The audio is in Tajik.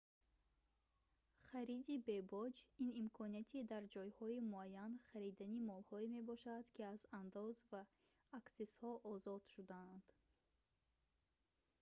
хариди бебоҷ ин имконияти дар ҷойҳои муайян харидани молҳое мебошад ки аз андоз ва аксизҳо озод шудаанд